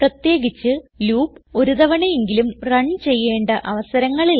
പ്രത്യേകിച്ച് ലൂപ്പ് ഒരു തവണ എങ്കിലും റൺ ചെയ്യേണ്ട അവസരങ്ങളിൽ